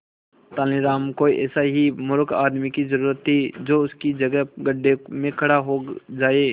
तेनालीराम को ऐसे ही मूर्ख आदमी की जरूरत थी जो उसकी जगह गड्ढे में खड़ा हो जाए